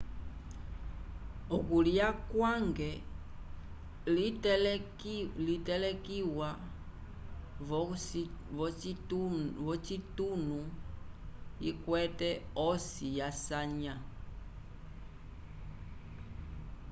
okulya kwa hangi litelekiwa v'ocitunu ikwete osi yasanya